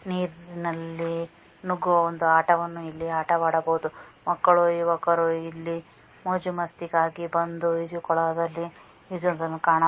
ನೀರನಲ್ಲಿ ನುಗ್ಗುವ ಒಂದು ಆಟವನ್ನು ಇಲ್ಲಿ ಆಟವಾಡಬಹುದು ಮಕ್ಕಳು ಯುವಕರು ಇಲ್ಲಿ ಮೋಜು ಮಸ್ತಿಗಾಗಿ ಬಂದು ಈಜುಕೊಳದಲ್ಲಿ ಈಜುವುದನ್ನು ಕಾಣ--